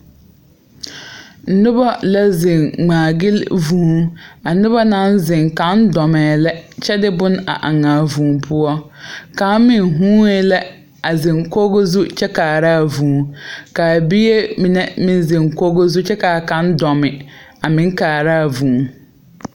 Nobɔ la zeŋ ngmaagyile vūū a nobɔ naŋ zeŋ kaŋ dɔmɛɛ la kyɛ de bone a aŋaa vūū poɔ kaŋ meŋ huunee la a zeŋ koge zu kyɛ kaaraa vūū kaa biire mine meŋ zeŋ kɔge kyɛ kaa kaŋ dɔmi a meŋ kaaraa vūū.